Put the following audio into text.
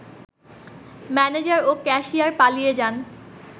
manager ও cashier পালিয়ে যান